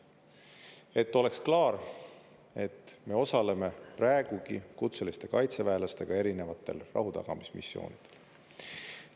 Et oleks klaar, et me osaleme praegugi kutseliste kaitseväelastega erinevatel rahutagamismissioonidel.